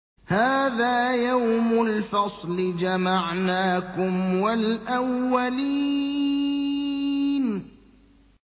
هَٰذَا يَوْمُ الْفَصْلِ ۖ جَمَعْنَاكُمْ وَالْأَوَّلِينَ